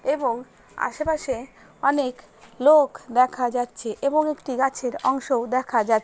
এবং আশেপাশে অনেক লোক দেখা যাচ্ছে এবং একটি গাছের অংশও দেখা যা--